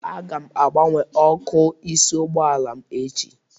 Aga m agbanwe ọkụ ịsị ụgbọala m echi